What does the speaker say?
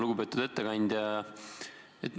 Lugupeetud ettekandja!